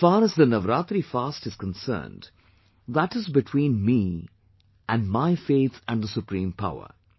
As far as the navaraatri fast is concerned, that is between me and my faith and the supreme power